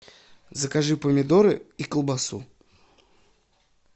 закажи помидоры и колбасу